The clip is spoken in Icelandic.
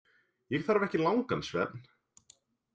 Ég þarf ekki langan svefn.